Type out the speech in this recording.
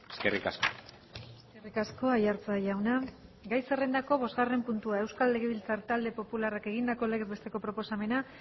eskerrik asko eskerrik asko aiartza jauna gai zerrendako bosgarren puntua euskal legebiltzar talde popularrak egindako legez besteko proposamena